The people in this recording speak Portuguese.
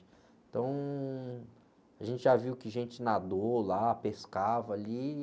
Então, a gente já viu que gente nadou lá, pescava ali e...